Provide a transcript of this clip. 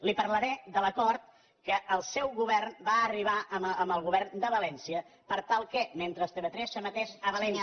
li parlaré de l’acord que el seu govern va arribar amb el govern de valència per tal que mentre tv3 s’emetés a valència